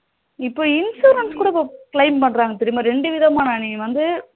இப்போ insurance கூட இப்போ claim பண்றாங்க தெரியுமா இரண்டு விதமா நீ வந்து